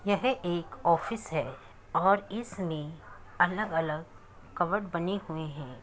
यह एक ऑफिस है और इसमें अलग-अलग कबर्ड बने हुए हैं।